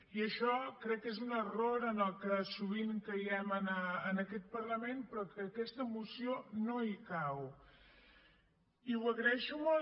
i això crec que és un error en el que sovint caiem en aquest parlament però que aquesta moció no hi cau i ho agraeixo molt